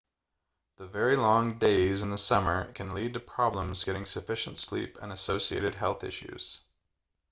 the very long days in the summer can lead to problems getting sufficient sleep and associated health issues